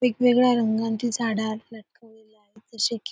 वेगवेगळ्या रंगाची झाडं जसे की --